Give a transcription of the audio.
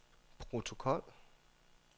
protokol